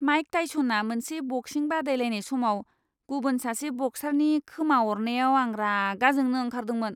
Mic टाइस'ना मोनसे बक्सिं बादायलायनाय समाव गुबुन सासे बक्सारनि खोमा अरनायाव आं रागा जोंनो ओंखारदोंमोन।